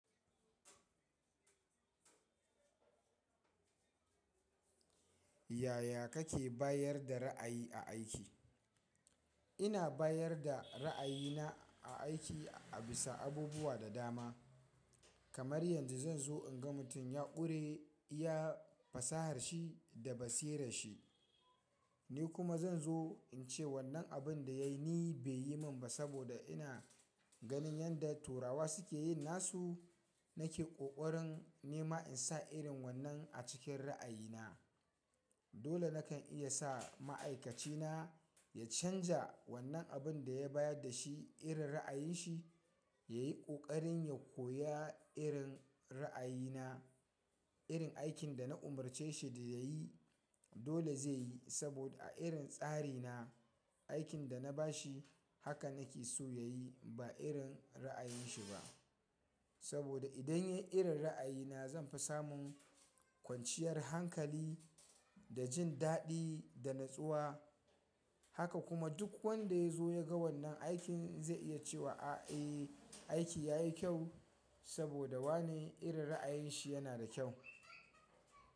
Yaya kake bayar da ra'ayi a aiki? Ina bayar da ra'ayina a aiki a bisa abubuwa da dama. Kamar yanzu zan zo in ga mutum ya ƙure iya fasaharshi da basira shi. Ni kuma zan zo in ce wannan abin da yayi ni bai yi min ba saboda ina ganin yanda turawa suke yi nasu. Nake ƙoƙarin nema in sa irin wannan a cikin ra'ayina. Dole nakan iya sa ma'aikacina ya canja wannan abin da ya bayar da shi irin ra'ayin shi, ya yi ƙoƙarin ya koya irin ra'ayina. Irin aikin da na umarce shi da ya yi dole zai yi saboda a irin tsari na aikin da na bashi haka nake so ya yi ba irin ra'ayin shi ba. Saboda idan ya yi irin ra'ayina zanfi samu kwanciyar hankali da jin daɗi da natsuwa. Haka kuma duk wanda ya zo ya ga wannan aikin zai iya ce wa a, eh, aiki yayi kyau saboda wane irin ra'ayin shi yana da kyau.